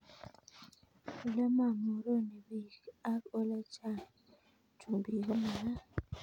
Ole mamoroni peek ak ole chang chumbik ko magat